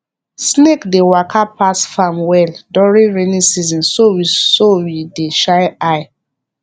snake dey waka pass farm well during rainy season so we so we dey shine eye